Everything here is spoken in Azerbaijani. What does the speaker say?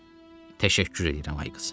Təşəkkür edirəm ay qızı.